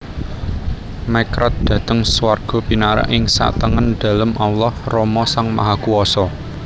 Mekrad dhateng swarga pinarak ing satengen Dalem Allah Rama Sang Mahakuwasa